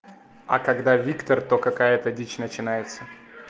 а когда виктор то какая-то дичь начинается